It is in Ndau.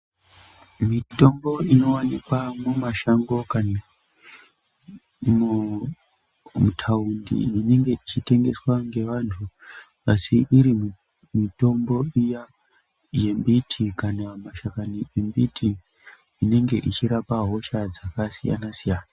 Mitombo inowanikwa mumashango kani mutaundi inenge ichitengeswa neanthu asi iri mitombo iya yembiti kana mashakani embiti inenge ichirapa hosha dzakasiyana siyana.